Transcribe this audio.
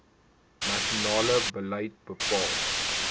nasionale beleid bepaal